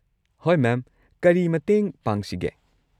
ꯍꯣꯏ ꯃꯦꯝ, ꯀꯔꯤ ꯃꯇꯦꯡ ꯄꯥꯡꯁꯤꯒꯦ?